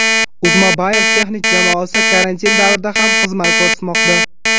Uzmobile texnik jamoasi karantin davrida ham xizmat ko‘rsatmoqda.